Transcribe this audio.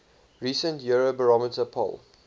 recent eurobarometer poll